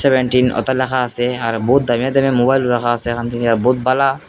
Seventeen ওতে লেখা আছে আর বহুত দামি দামি মোবাইল রাখা আছে এখান থেকে বহুত ভালা।